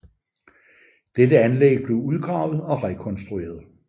Dette anlæg blev udgravet og rekonstrueret